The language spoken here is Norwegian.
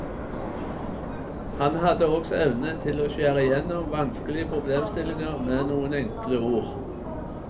Han hadde også evne til å skjære igjennom vanskelige problemstillinger med noen enkle ord.